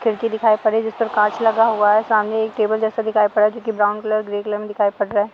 खिड़की दिखाई पड़ रही जिस पर कांच लगा हुआ है सामने एक टेबल जैसा दिखाई पड़ रहा है जो कि ब्राउन कलर ग्रे कलर मे दिखाई पड़ रहा है।